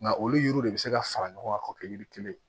Nka olu yiriw de bɛ se ka fara ɲɔgɔn kan k'o kɛ yiri kelen ye